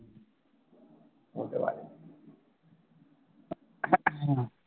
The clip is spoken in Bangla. হতে পারে